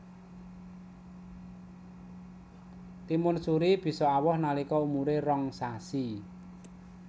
Timun suri bisa awoh nalika umuré rong sasi